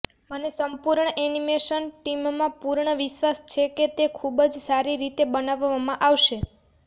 મને સંપૂર્ણ એનિમેશન ટીમમાં પૂર્ણ વિશ્વાસ છે કે તે ખૂબ જ સારી રીતે બનાવવામાં આવશે